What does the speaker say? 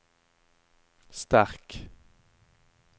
sterk